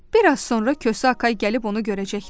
Biraz sonra Kosa Akay gəlib onu görəcəkdi.